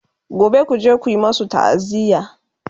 gobe kuje ku masu ta'aziya!